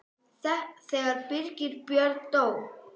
Þegar Birgir Björn dó.